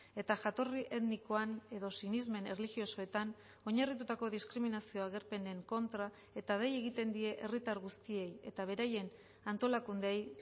eta jatorri etnikoan edo sinesmen erlijiosoetan oinarritutako diskriminazio agerpenen kontra eta dei egiten die herritar guztiei eta beraien antolakundeei